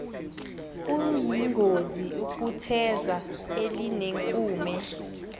kuyingozi ukutheza elinenkume